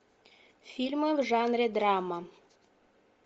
фильмы в жанре драма